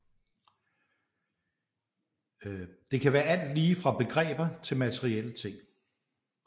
Det kan være alt lige fra begreber til materielle ting